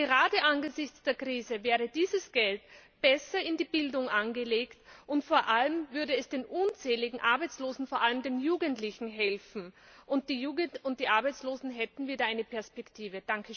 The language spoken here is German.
Gerade angesichts der Krise wäre dieses Geld besser in der Bildung angelegt, und vor allem würde es den unzähligen Arbeitslosen vor allem den Jugendlichen helfen. Die Jugend und die Arbeitslosen hätten dann wieder eine Perspektive!